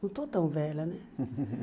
Não estou tão velha, né?